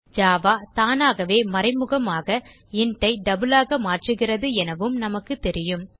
Java தானாகவே மறைமுகமாக int ஐ டபிள் ஆக மாற்றுகிறது எனவும் நமக்கு தெரியும்